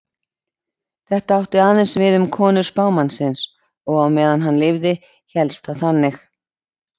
Þetta átti aðeins við um konur spámannsins og á meðan hann lifði hélst það þannig.